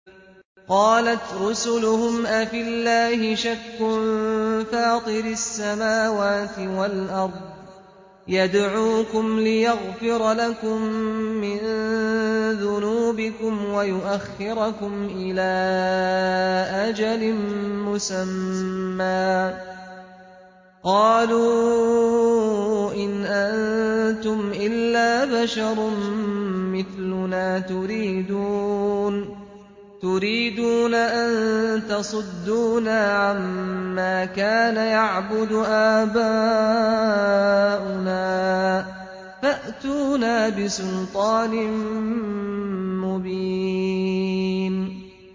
۞ قَالَتْ رُسُلُهُمْ أَفِي اللَّهِ شَكٌّ فَاطِرِ السَّمَاوَاتِ وَالْأَرْضِ ۖ يَدْعُوكُمْ لِيَغْفِرَ لَكُم مِّن ذُنُوبِكُمْ وَيُؤَخِّرَكُمْ إِلَىٰ أَجَلٍ مُّسَمًّى ۚ قَالُوا إِنْ أَنتُمْ إِلَّا بَشَرٌ مِّثْلُنَا تُرِيدُونَ أَن تَصُدُّونَا عَمَّا كَانَ يَعْبُدُ آبَاؤُنَا فَأْتُونَا بِسُلْطَانٍ مُّبِينٍ